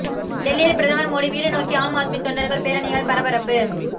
டெல்லியில் பிரதமர் மோடி வீடு நோக்கி ஆம் ஆத்மி தொண்டர்கள் பேரணியால் பரபரப்பு